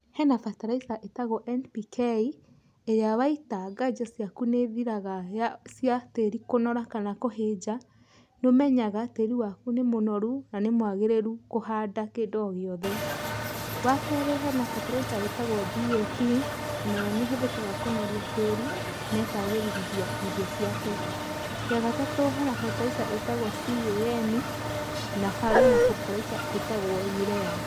Hena bataraica ĩtagwo NPK, ĩrĩa waita nganja ciaku nĩ ĩthiraga ya cia tĩri kũnora kana kũhĩnja, nĩ ũmenya tĩri waku nĩ mũnoru na nĩ mwagĩrĩru kũhanda kĩndũ o gĩothe. Wa keeri hena bataraica ĩtagwo DAP, onayo nĩ ĩhũthĩkaga kũnoria tĩri, na ĩkagĩrithia irio ciaku. Ya gatatũ hena bataraica ĩtagwo CAN, na harĩ ona bataraica ĩtagwo Urea.